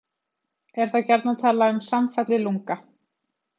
Er þá gjarnan talað um samfallið lunga.